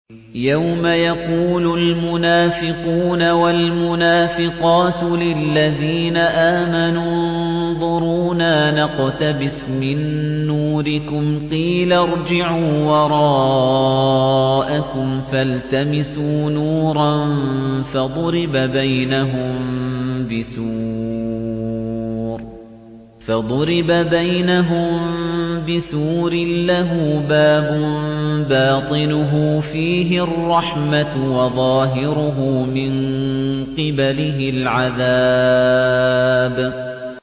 يَوْمَ يَقُولُ الْمُنَافِقُونَ وَالْمُنَافِقَاتُ لِلَّذِينَ آمَنُوا انظُرُونَا نَقْتَبِسْ مِن نُّورِكُمْ قِيلَ ارْجِعُوا وَرَاءَكُمْ فَالْتَمِسُوا نُورًا فَضُرِبَ بَيْنَهُم بِسُورٍ لَّهُ بَابٌ بَاطِنُهُ فِيهِ الرَّحْمَةُ وَظَاهِرُهُ مِن قِبَلِهِ الْعَذَابُ